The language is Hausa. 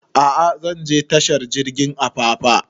A'a zan je tashar jirgin apapa